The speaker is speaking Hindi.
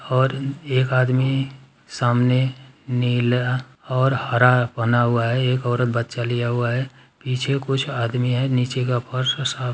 और एक आदमी सामने नीला और हरा बना हुआ है। एक औरत बच्चा लिया हुआ है। पीछे कुछ आदमी है। नीचे का फर्श साफ --